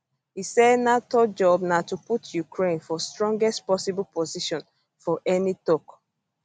e say nato job na to put ukraine for strongest possible position for any tok